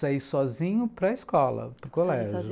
Saí sozinho para escola, para o colégio.